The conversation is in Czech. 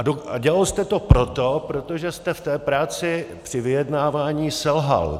A dělal jste to proto, protože jste v té práci při vyjednávání selhal.